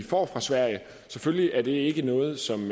får fra sverige selvfølgelig er det ikke noget som